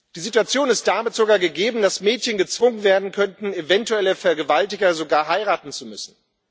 Die Situation ist damit sogar gegeben, dass Mädchen gezwungen werden könnten, eventuelle Vergewaltiger sogar heiraten zu müssen.